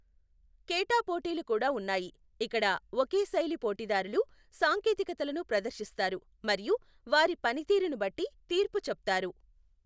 కేటా పోటీలు కూడా ఉన్నాయి, ఇక్కడ ఒకే శైలి పోటీదారులు సాంకేతికతలను ప్రదర్శిస్తారు మరియు వారి పనితీరును బట్టి తీర్పు చెప్తారు.